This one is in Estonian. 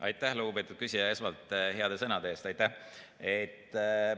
Aitäh, lugupeetud küsija, esmalt heade sõnade eest!